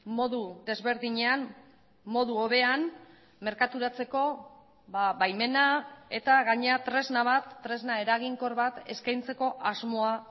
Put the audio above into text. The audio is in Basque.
modu desberdinean modu hobean merkaturatzeko baimena eta gainera tresna bat tresna eraginkor bat eskaintzeko asmoa